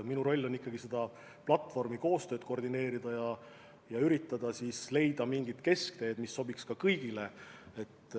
Minu roll on ikkagi selle platvormi koostööd koordineerida ja üritada leida mingit keskteed, mis sobiks kõigile.